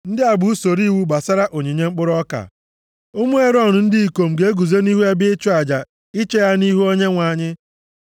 “ ‘Ndị a bụ usoro iwu gbasara onyinye mkpụrụ ọka. Ụmụ Erọn ndị ikom ga-eguzo nʼihu ebe ịchụ aja iche ya nʼihu Onyenwe anyị.